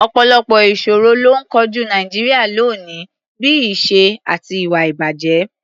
Ọ̀pọ̀lọpọ̀ ìṣòro ló ń kojú Nàìjíríà lónìí, bí i ìṣẹ́ àti ìwà-ìbàjẹ́.